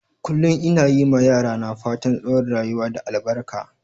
Kullum ina yi ma yara na fatan tsawon rayuwa da albaka.